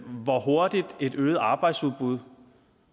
hvor hurtigt et øget arbejdsudbud